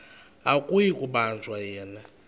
akuyi kubanjwa yena